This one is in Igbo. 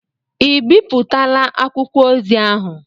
Ị ebipụtala akwụkwọ ozi ahụ?